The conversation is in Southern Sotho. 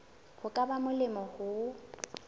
ho ka ba molemo ho